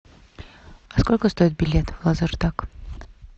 сколько стоит билет в лазертаг